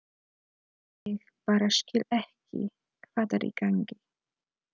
Ég bara skil ekki hvað er í gangi.